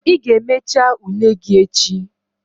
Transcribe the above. Ị ga-emecha ule gị echi!